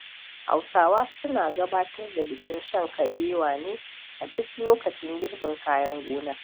Hausawa suna gabatar da bikin shan kabewa ne a duk lokacin girbin kayan gona.